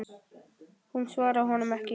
Hún svaraði honum ekki.